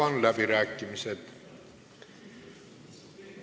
Avan läbirääkimised.